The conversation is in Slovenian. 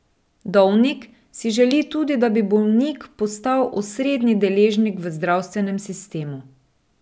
Dovnik si želi tudi, da bi bolnik postal osrednji deležnik v zdravstvenem sistemu.